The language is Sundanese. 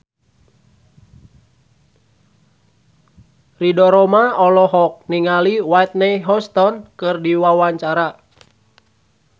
Ridho Roma olohok ningali Whitney Houston keur diwawancara